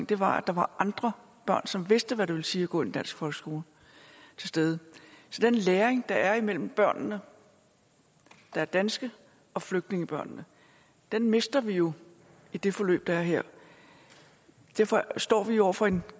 der var andre børn som vidste hvad det ville sige at gå i en dansk folkeskole til stede så den læring der er imellem børnene der er danske og flygtningebørnene mister vi jo i det forløb der er her derfor står vi over for en